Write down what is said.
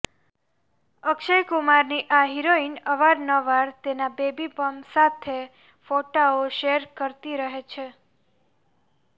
અક્ષય કુમારની આ હિરોઇન અવારનવાર તેના બેબી બમ્પ સાથે ફોટાઓ શેર કરતી રહે છે